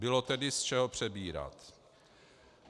Bylo tedy z čeho přebírat.